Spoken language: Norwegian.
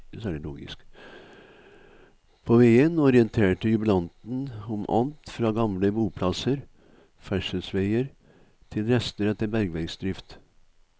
På veien orienterte jubilanten om alt fra gamle boplasser, ferdselsveier til rester etter bergverksdrift.